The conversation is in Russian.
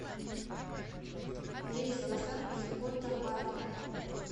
рейс в асан из котабато